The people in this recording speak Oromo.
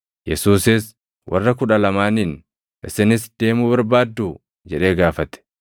Yesuusis warra Kudha Lamaaniin, “Isinis deemuu barbaadduu?” jedhee gaafate.